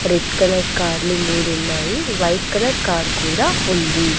Red colour కార్లు మూడున్నాయి white colour car కూడా ఉంది.